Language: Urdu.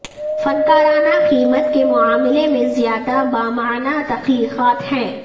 فنکارانہ قیمت کے معاملے میں زیادہ بامعنی تخلیقات ہیں